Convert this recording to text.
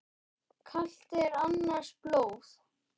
Kalt er annars blóð.